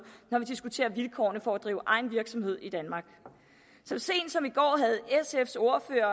når vi diskuterer vilkårene for at drive egen virksomhed i danmark så sent som i går havde sfs ordfører